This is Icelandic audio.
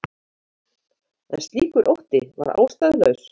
En slíkur ótti var ástæðulaus.